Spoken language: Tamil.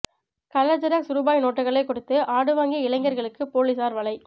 கலர் ஜெராக்ஸ் ரூபாய் நோட்டுக்களை கொடுத்து ஆடு வாங்கிய இளைஞர்களுக்கு போலீசார் வலை